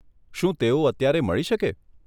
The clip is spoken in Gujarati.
શું તેઓ અત્યારે મળી શકે?